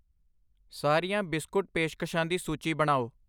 ਸਾਰੀਆਂ ਬਿਸਕੁਟ ਪੇਸ਼ਕਸ਼ਾਂ ਦੀ ਸੂਚੀ ਬਣਾਓ